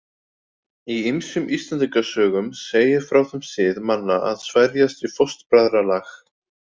Í ýmsum Íslendingasögum segir frá þeim sið manna að sverjast í fóstbræðralag.